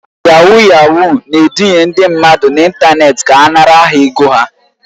Yahuu yahuu na-eduhie ndị mmadụ n'ịntanetị ka ha nara ha ego ha